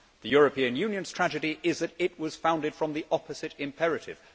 The European Union's tragedy is that it was founded from the opposite imperative.